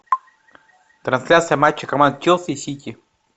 трансляция матча команд челси и сити